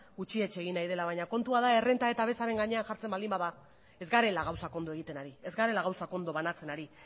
gutxietsi egin nahi dela baina kontua da errenta eta bezaren gainean jartzen baldin bada ez garela gauzak ondo egiten ari ez garela gauzak ondo banatzen ari